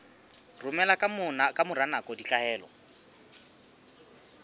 romela ka mora nako ditlaleho